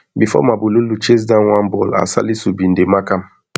bifor mabululu chase down one ball as salisu bin dey mark am